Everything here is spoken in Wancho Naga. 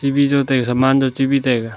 vi jau taiga saman jo chibi taiga.